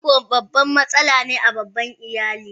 Fifiko babban a matsala ne a babban iyali.